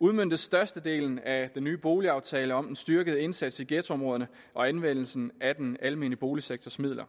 udmøntes størstedelen af den nye boligaftale om en styrket indsats i ghettoområderne og anvendelsen af den almene boligsektors midler